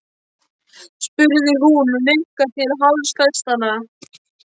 spurði hún og nikkaði til hálsfestanna.